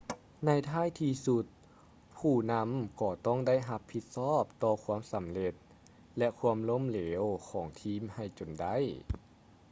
ໃນທ້າຍທີ່ສຸດ ຜູ້ນຳກໍຕ້ອງໄດ້ຮັບຜິດຊອບຕໍ່ຄວາມສຳເລັດ ແລະ ຄວາມລົ້ມເເຫຼວຂອງທີມໃຫ້ຈົນໄດ້